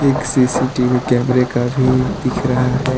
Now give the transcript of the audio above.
एक सी_सी_टी_वी कैमरे का भी दिख रहा है।